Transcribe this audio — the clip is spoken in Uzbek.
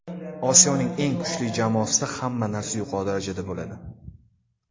Osiyoning eng kuchli jamoasida hamma narsa yuqori darajada bo‘ladi.